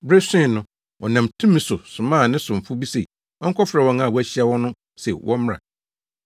Bere soe no, ɔnam tumi so somaa ne somfo bi se ɔnkɔfrɛ wɔn a wɔahyia wɔn no se wɔmmra.